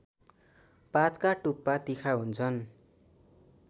पातका टुप्पा तिखा हुन्छन्